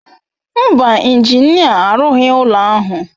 Mba, injinia arụghị ụlọ ahụ.